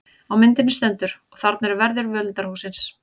Á myndinni stendur: Og þarna eru verðir völundarhússins.